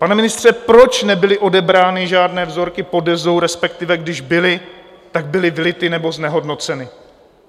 Pane ministře, proč nebyly odebrány žádné vzorky pod Dezou, respektive když byly, tak byly vylity nebo znehodnoceny?